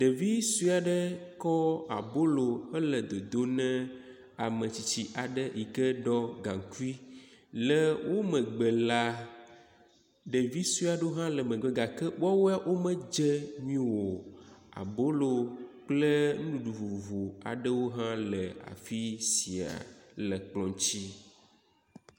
Ɖevi suɛ aɖe kɔ abolo hele dodo nɛ ametsitsi aɖe yike ɖo gaŋkui, le wo megbe la, ɖevi suɛ aɖewo hã le megbe gake woawoea wo medze nyuio. Abolo kple nuɖuɖu vovovo aɖewo hã le fisia le kplɔ̃ dzi.